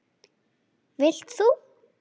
Vilt þú?